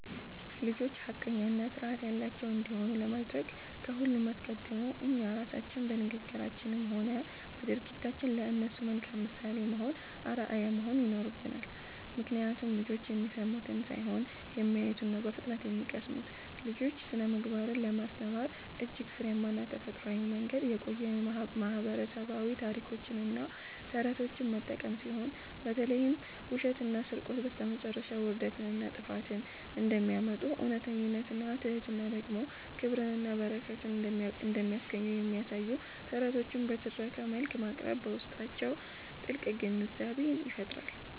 ልጆች ሐቀኛና ሥርዓት ያላቸው እንዲሆኑ ለማድረግ ከሁሉ አስቀድሞ እኛ ራሳችን በንግግራችንም ሆነ በድርጊታችን ለእነሱ መልካም ምሳሌ ወይም አርአያ መሆን ይኖርብናል፤ ምክንያቱም ልጆች የሚሰሙትን ሳይሆን የሚያዩትን ነው በፍጥነት የሚቀስሙት። ለልጆች ስነ-ምግባርን ለማስተማር እጅግ ፍሬያማና ተፈጥሯዊው መንገድ የቆዩ ማህበረሰባዊ ታሪኮችንና ተረቶችን መጠቀም ሲሆን፣ በተለይም ውሸትና ስርቆት በስተመጨረሻ ውርደትንና ጥፋትን እንደሚያመጡ፣ እውነተኝነትና ትሕትና ደግሞ ክብርንና በረከትን እንደሚያስገኙ የሚያሳዩ ተረቶችን በትረካ መልክ ማቅረብ በውስጣቸው ጥልቅ ግንዛቤን ይፈጥራል።